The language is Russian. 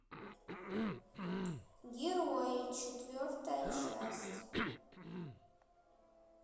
герои четвертая часть